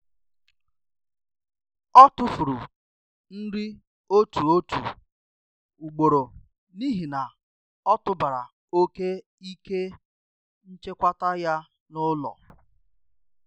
Ọ tụfuru nri otu otu ugboro n’ihi na ọ tụbara oke ike nchekwa ya n’ụlọ.